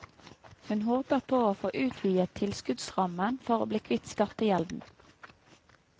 Hun håper på å få utvidet tilskuddsrammen for å bli kvitt skattegjelden.